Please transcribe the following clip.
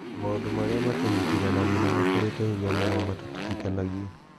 "Na maũndũ marĩa matũnyitithanagia nĩ makĩrĩte hinya marĩa matũtigithanagia.